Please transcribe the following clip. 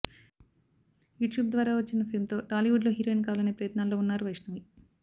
YouTube ద్వారా వచ్చిన fame తో టాలీవుడ్ లో హీరోయిన్ కావాలనే ప్రయత్నాలలో ఉన్నారు వైష్ణవి